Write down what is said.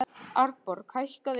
Arnborg, hækkaðu í græjunum.